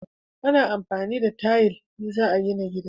A na amfani da tayil in za a gina gida